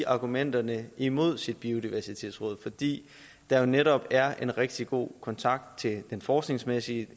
argumenterne imod sit biodiversitetsråd fordi der netop er en rigtig god kontakt til den forskningsmæssige